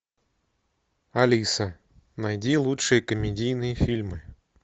алиса найди лучшие комедийные фильмы